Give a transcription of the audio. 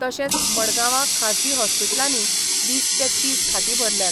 तशेंच मडगांवां खाजगी हॉस्पिटलांनीय वीस ते तीस खाटी भरल्यात.